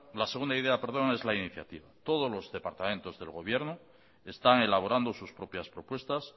la segunda idea es la iniciativa todos los departamentos del gobierno están elaborando sus propias propuestas